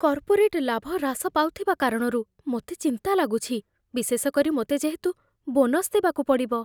Corporate ଲାଭ ହ୍ରାସ ପାଉଥିବା କାରଣରୁ ମୋତେ ଚିନ୍ତା ଲାଗୁଛି, ବିଶେଷ କରି ମୋତେ ଯେହେତୁ ବୋନସ ଦେବାକୁ ପଡ଼ିବ।